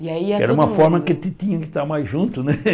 Era uma forma que a gente tinha que estar mais junto, né?